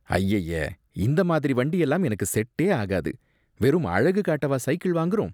அய்யய்ய! இந்த மாதிரி வண்டியெல்லாம் எனக்கு செட்டே ஆகாது. வெறும் அழகு காட்டவா சைக்கிள் வாங்குறோம்.